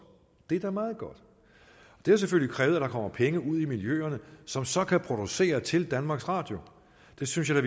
det er da meget godt det har selvfølgelig krævet at der kommer penge ud i miljøerne som så kan producere til danmarks radio og det synes jeg